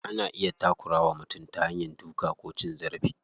Ana iya takura wa mutum ta hanya duka ko cin zarafi.